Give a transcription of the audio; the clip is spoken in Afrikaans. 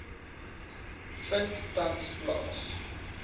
vind tans plaas